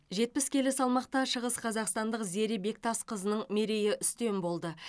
жетпіс келі салмақта шығысқазақстандық зере бектасқызының мерейі үстем болды